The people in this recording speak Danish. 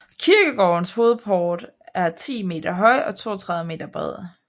Kirkegårdens hovedport er 10 meter høj og 32 meter bred